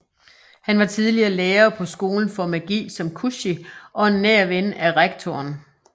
Han var tidligere lærer på Skolen for magi som Kushi og en nær ven af rektoren